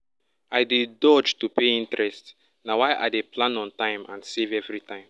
i dey dodge to pay interest na why i dey plan on time and save every time